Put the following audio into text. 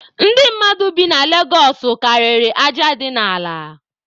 Ndị mmadụ bi na Legosụ karịrị aja dị n'ala.